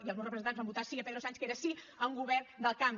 i els meus representants van votar sí a pedro sánchez que era sí a un govern del canvi